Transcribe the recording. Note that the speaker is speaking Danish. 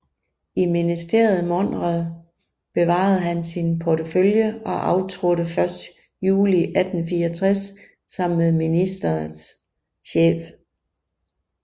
I ministeriet Monrad bevarede han sin portefølje og aftrådte først juli 1864 sammen med ministeriets chef